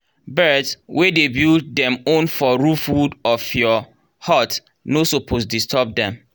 birds wey dey build dem own for roof wood of your hut no suppose disturb dem.